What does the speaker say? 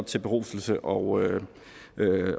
til beruselse og